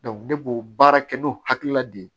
ne b'o baara kɛ n'o hakilina de ye